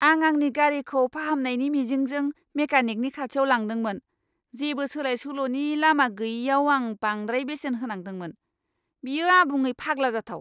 आं आंनि गारिखौ फाहामनायनि मिजिंजों मेकानिकनि खाथियाव लांदोंमोन, जेबो सोलाय सोल'नि लामा गैयैआव आं बांद्राय बेसेन होनांदोंमोन। बेयो आबुङै फाग्ला जाथाव!